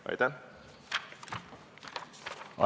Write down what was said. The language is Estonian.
Aitäh!